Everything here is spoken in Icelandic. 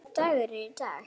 Hvaða dagur er í dag?